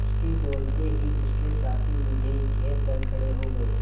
उसके बोलते ही उसके साथी मुझे घेर कर खड़े हो गए